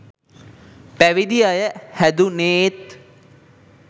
පැවිදි අය හැදුනේත්